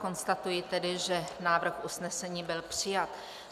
Konstatuji tedy, že návrh usnesení byl přijat.